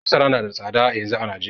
Masara nada tsada yanzu a Najeriya